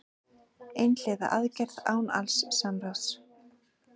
Einhliða aðgerð án alls samráðs